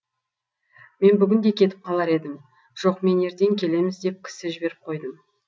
мен бүгін де кетіп қалар едім жоқ мен ертең келеміз деп кісі жіберіп қойдым